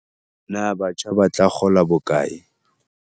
Na batjha ba tla kgola bokae?